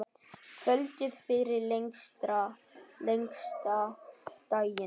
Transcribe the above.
Kvöldið fyrir lengsta daginn.